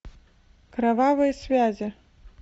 кровавые связи